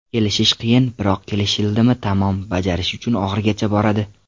Kelishish qiyin, biroq kelishildimi tamom, bajarish uchun oxirigacha boradi.